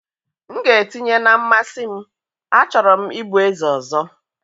m ga-etinye na mmasị m, a chọrọ m ịbụ eze ọzọ.